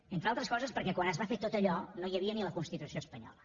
entre altres coses perquè quan es va fer tot allò no hi havia ni la constitució espanyola